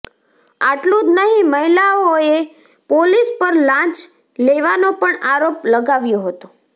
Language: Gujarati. આટલુ જ નહી મહિલાએ પોલીસ પર લાંચ લેવાનો પણ આરોપ લગાવ્યો હતો